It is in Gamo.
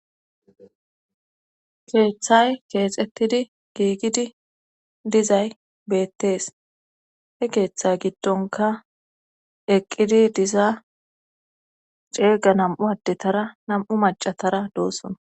keeththay keexettidi giigidi dizay beettees he keeththa giddonka eqqidi diza ceega nam'u addetara nam'u macatara doosona